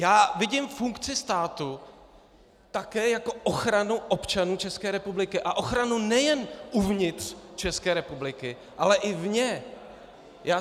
Já vidím funkci státu také jako ochranu občanů České republiky a ochranu nejen uvnitř České republiky, ale i vně.